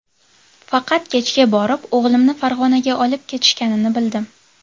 Faqat kechga borib o‘g‘limni Farg‘onaga olib ketishganini bildim.